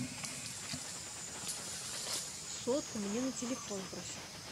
сотку мне на телефон брось